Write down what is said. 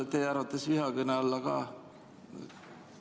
Kas teie arvates on see käsitletav vihakõnena?